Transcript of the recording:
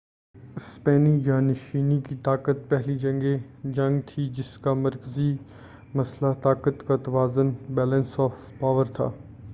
اسپینی جا نشینی کی جنگ پہلی جنگ تھی جس کا مرکزی مسئلہ طاقت کا توازن بیلنس آف پاور تھا۔